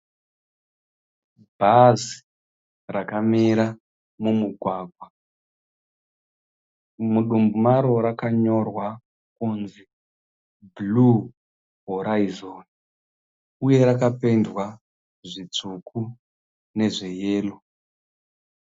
Bhazi rakamira mumugwagwa. Mudumbu maro rakanyorwa kunzi Blue Horizon uye rakapendwa zvitsvuku nezveyero